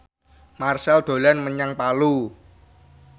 Marchell dolan menyang Palu